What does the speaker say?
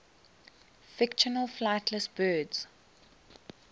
fictional flightless birds